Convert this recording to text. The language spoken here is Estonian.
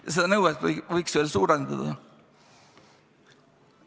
Ja seda nõuet võiks veelgi suurendada.